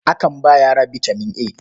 Akan ba yara bitaman A.